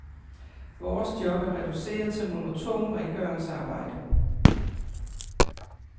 Vores job er reduceret til monotont rengøringsarbejde.